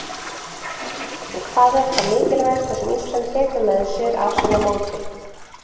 En hvað er það mikilvægasta sem Ísland tekur með sér af svona móti?